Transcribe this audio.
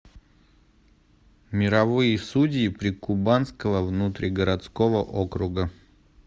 мировые судьи прикубанского внутригородского округа